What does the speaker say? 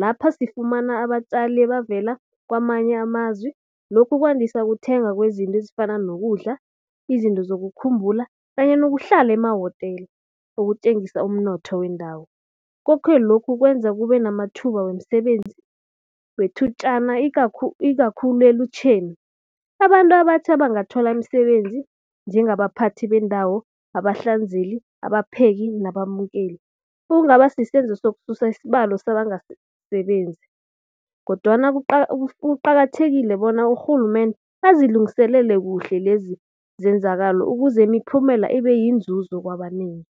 Lapha sifumana abatjali abavela kwamanye amazwi lokhu kwandisa ukuthenga kwezinto ezifana nokudla, izinto lokukhumbula kanye nokuhlala emawotela ukutjengisa umnotho wendawo. Koke lokhu kwenza kube namathuba wemisebenzi wethutjana ikakhulu elutjheni. Abantu abatjha bangathola imisebenzi njengabaphathi bendawo, abahlanzeli, abapheki nabamukeli. Okungaba sisenzo sokususa isibalo sabangasebenzi kodwana kuqakathekile bona urhulumende azilungiselele kuhle lezenzakelo ukuze imiphumela ibe yinzuzo kwabanengi.